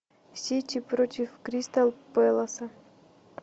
сити против кристал пэласа